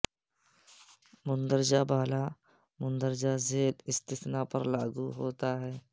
مندرجہ بالا مندرجہ بالا مندرجہ ذیل استثناء پر لاگو ہوتا ہے